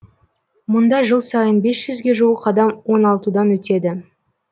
мұнда жыл сайын бес жүзге жуық адам оңалтудан өтеді